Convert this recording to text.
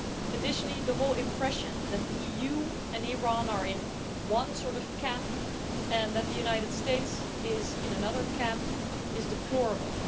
Additionally, the whole impression that the EU and Iran are in one sort of camp and that the United States is in another camp is deplorable.